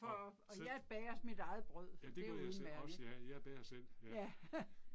Nej. Ja det gør jeg så også ja jeg bager selv ja